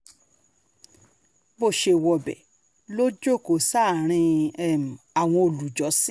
bó ṣe wọbẹ̀ ló jókòó sáàrin um àwọn olùjọ́sìn